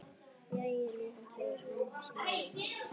Jæja, ljúfan, segir hún snúðug.